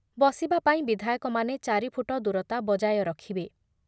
ବସିବା ପାଇଁ ବିଧାୟକମାନେ ଚାରି ଫୁଟ ଦୂରତା ବଜାୟ ରଖିବେ ।